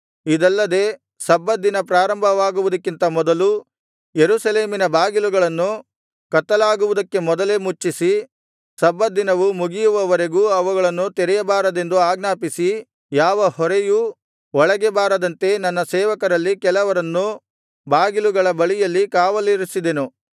ಇದಲ್ಲದೆ ಸಬ್ಬತ್ ದಿನ ಪ್ರಾರಂಭವಾಗುವುದಕ್ಕಿಂತ ಮೊದಲು ಯೆರೂಸಲೇಮಿನ ಬಾಗಿಲುಗಳನ್ನು ಕತ್ತಲಾಗುವುದಕ್ಕೆ ಮೊದಲೇ ಮುಚ್ಚಿಸಿ ಸಬ್ಬತ್ ದಿನವು ಮುಗಿಯುವವರೆಗೂ ಅವುಗಳನ್ನು ತೆರೆಯಬಾರದೆಂದು ಆಜ್ಞಾಪಿಸಿ ಯಾವ ಹೊರೆಯೂ ಒಳಗೆ ಬಾರದಂತೆ ನನ್ನ ಸೇವಕರಲ್ಲಿ ಕೆಲವರನ್ನು ಬಾಗಿಲುಗಳ ಬಳಿಯಲ್ಲಿ ಕಾವಲಿರಿಸಿದೆನು